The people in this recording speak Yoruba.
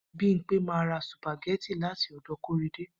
Bimpe ma ra sùpàgẹ́tì láti ọ̀dọ̀ Kóredé